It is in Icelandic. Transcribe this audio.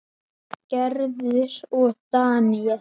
Gerður og Daníel.